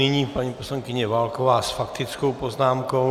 Nyní paní poslankyně Válková s faktickou poznámkou.